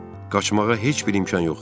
Qaçmağa heç bir imkan yox idi.